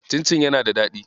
Cincin yana da daɗi.